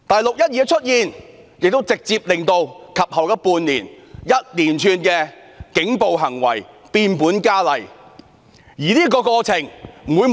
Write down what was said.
"六一二"事件的出現，亦直接令及後半年的一連串警暴行為變本加厲。